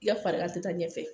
I ka farigan te taa ɲɛfɛ.